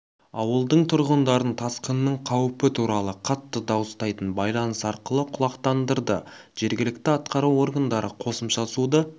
ауылдың тұрғындарын тасқынның қауіпі туралы қатты дауыстайтын байланыс арқылы құлақтандырды жергілікті атқару органдары қосымша суды